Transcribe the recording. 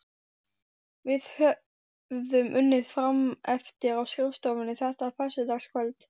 Við höfðum unnið frameftir á skrifstofunni þetta föstudagskvöld.